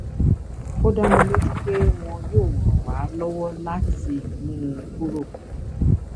ó dá mi lójú pé wọn yóò ràn wá lọwọ láti mú un kúrò